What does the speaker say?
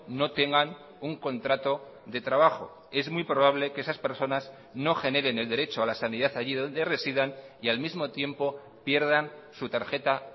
no tengan un contrato de trabajo es muy probable que esas personas no generen el derecho a la sanidad allí donde residan y al mismo tiempo pierdan su tarjeta